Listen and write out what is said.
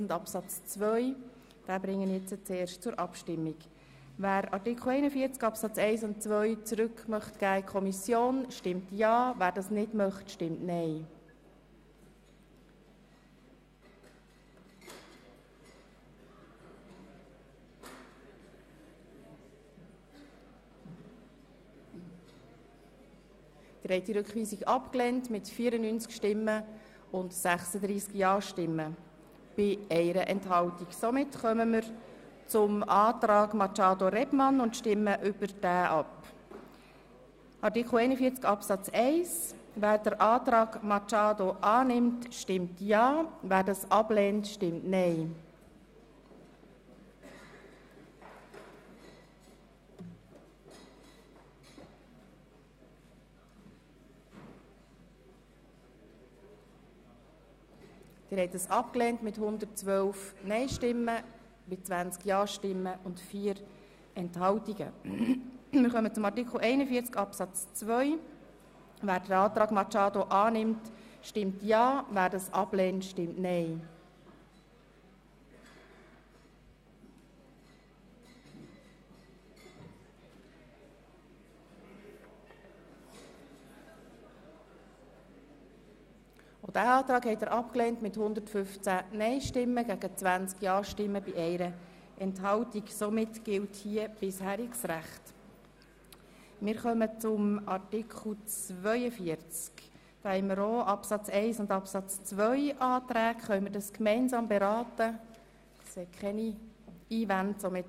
Einfache Steuer in Prozent 1,55 für die ersten 1,65 für die weiteren 2,80 für die weiteren 3,60 für die weiteren 3,75 für die weiteren 4,25 für die weiteren 4,80 für die weiteren 5,15 für die weiteren 5,65 für die weiteren 5,80 für die weiteren 5,90 für die weiteren 6,20 für die weiteren 6,40 für die weiteren 6,50 für jedes weitere Einkommen 1,95 für die ersten 2,90 für die weiteren 3,55 für die weiteren 4,10 für die weiteren 4,40 für die weiteren 4,95 für die weiteren 5,55 für die weiteren 5,70 für die weiteren 5,85 für die weiteren 6,00 für die weiteren 6,15 für die weiteren 6,30 für die weiteren 6,40 für die weiteren 6,50 für jedes weitere Einkommen zu versteuerndes Einkommen in CHF 15 900 26 300 26 300 26 300 26 300 40 200 52 200 52 200 52 200 135 000 zu versteuerndes Einkommen in CHF 15 900 26 300 26 300 26 300 26 300 26 300 26 300 36 400 83 300 145 400